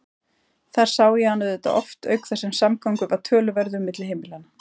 Þar sá ég hann auðvitað oft auk þess sem samgangur var töluverður milli heimilanna.